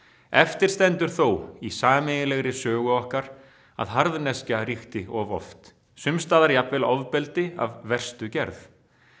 eftir stendur þó í sameiginlegri sögu okkar að harðneskja ríkti of oft sumst staðar jafnvel ofbeldi af verstu gerð